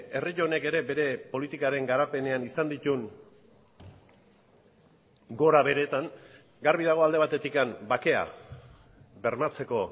herri honek ere bere politikaren garapenean izan dituen gorabeheretan garbi dago alde batetik bakea bermatzeko